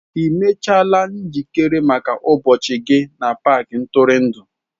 Ị mechaala njikere maka ụbọchị gị na paaki ntụrụndụ?